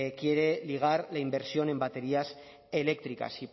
quiere ligar la inversión en baterías eléctricas si